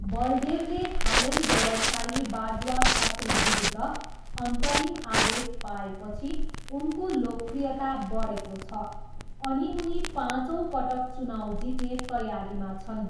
बलदेवले हालै व्यवसायी बाजवा खत्रीविरुद्ध अन्तरिम आदेश पाएपछि उनको लोकप्रियता बढेको छ अनि उनी पाँचौँ पटक चुनाउ जित्ने तयारीमा छन्।